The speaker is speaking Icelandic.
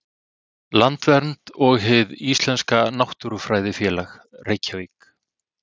Landvernd og Hið íslenska náttúrufræðifélag, Reykjavík.